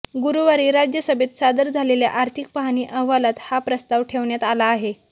गुरुवारी राज्यसभेत सादर झालेल्या आर्थिक पाहणी अहवालात हा प्रस्ताव ठेवण्यात आला आहे